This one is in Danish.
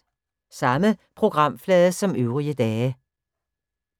Samme programflade som øvrige dage